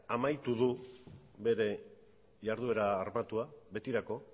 amaitu du bere jarduera armatua betirako